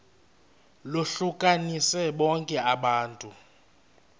lohlukanise bonke abantu